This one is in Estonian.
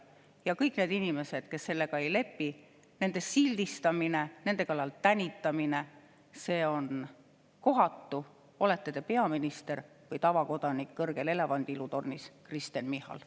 Ja kõigi nende inimeste sildistamine, kes sellega ei lepi, nende kallal tänitamine on kohatu, olete te peaminister või tavakodanik kõrgel elevandiluutornis, Kristen Michal.